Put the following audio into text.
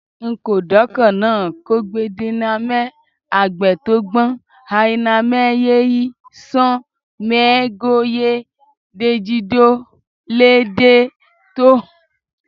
N’ko doakọnna kọgbidinamẹ hagbẹ tọn gbọn ayinamẹ yíyí sọn mẹhe go yè dejido lẹ dè to hohowhenu dali